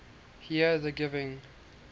here the giving